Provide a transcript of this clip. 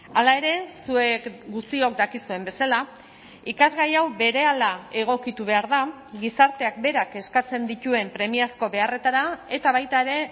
hala ere zuek guztiok dakizuen bezala ikasgai hau berehala egokitu behar da gizarteak berak eskatzen dituen premiazko beharretara eta baita ere